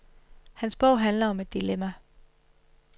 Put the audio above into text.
Hans bog handler om et dilemma.